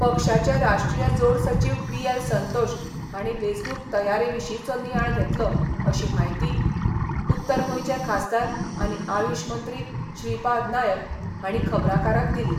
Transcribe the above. पक्षाचे राष्ट्रीय जोड सचीव बीएल संतोश हांणी वेंचणूक तयारे विशींचो नियाळ घेतलो अशी माहिती उत्तर गोंयचे खासदार आनी आयुष मंत्री श्रीपाद नायक हांणी खबराकारांक दिली.